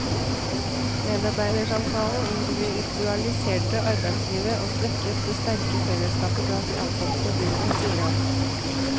Medarbeidersamtalen individualiserte arbeidslivet, og svekket det sterke fellesskapet blant de ansatte på gulvet, sier han.